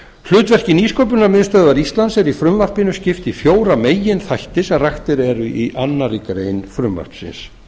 hlutverki nýsköpunarmiðstöðvar íslands er í frumvarpinu skipt í fjóra meginþætti sem raktir eru í annarri grein frumvarpsins